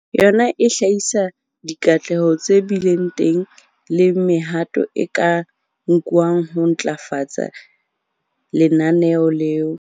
Yona e hlahisa dikatleho tse bileng teng le mehato e ka nkwang ho ntlafatsa lenaneo leo.